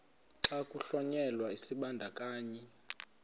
xa kuhlonyelwa isibandakanyi